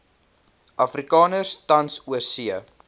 afrikaners tans oorsee